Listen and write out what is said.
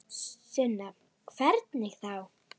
Sunna: Hvernig þá?